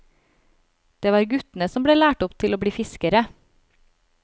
Det var guttene som ble lært opp til å bli fiskere.